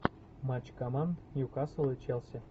матч команд ньюкасл и челси